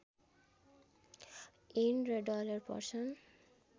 येन र डलर पर्छन्